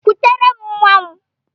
Kutere m nwam!